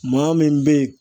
Maa min bɛ ye